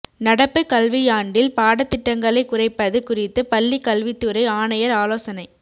நடப்பு கல்வியாண்டில் பாடத்திட்டங்களை குறைப்பது குறித்து பள்ளிக் கல்வித்துறை ஆணையர் ஆலோசனை